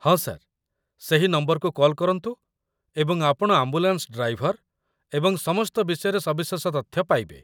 ହଁ, ସାର୍, ସେହି ନମ୍ବରକୁ କଲ୍ କରନ୍ତୁ ଏବଂ ଆପଣ ଆମ୍ବୁଲାନ୍ସ ଡ୍ରାଇଭର ଏବଂ ସମସ୍ତ ବିଷୟରେ ସବିଶେଷ ତଥ୍ୟ ପାଇବେ।